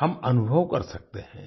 हम अनुभव कर सकते हैं